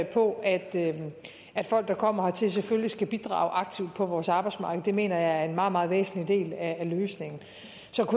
på at at folk der kommer hertil selvfølgelig skal bidrage aktivt på vores arbejdsmarked mener jeg er en meget meget væsentlig del af løsningen